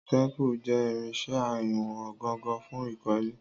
Àwọn téèpù jẹ́ irinṣẹ́ ìwọ̀n gangan fún ìkọ́lé.